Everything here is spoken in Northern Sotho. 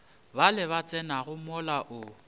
bale ba tsenago mola o